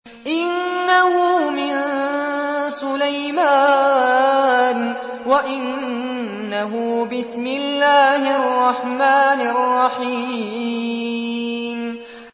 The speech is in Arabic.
إِنَّهُ مِن سُلَيْمَانَ وَإِنَّهُ بِسْمِ اللَّهِ الرَّحْمَٰنِ الرَّحِيمِ